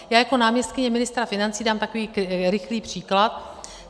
Já jako náměstkyně ministra financí dám takový rychlý příklad.